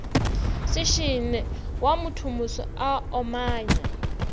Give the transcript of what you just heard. setšene wa mothomoso a omanya